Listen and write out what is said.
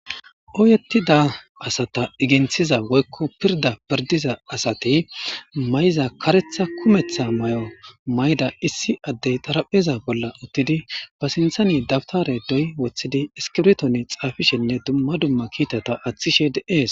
Oyettida asata iginthiza woykko pirda pirdiza asate may'za karetha kumeththa may'o mayda issi addey darapheza bolla uttidi ba sinthani dabtare doy woththidi iskibtone xaafishenne dumma dumma kiitata aththishe deees.